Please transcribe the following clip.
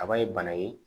Kaba ye bana ye